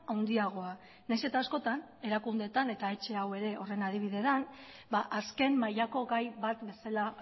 handiagoa nahiz eta askotan erakundeetan eta etxe hau ere horren adibide da azken mailako gai bat bezala